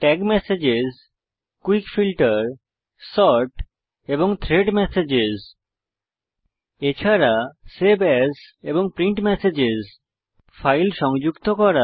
tag messages quick filter sort এবং thread messages এছাড়া save as এবং প্রিন্ট মেসেজেস ফাইল সংযুক্ত করা